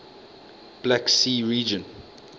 black sea region